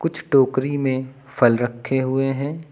कुछ टोकरी में फल रखे हुए हैं।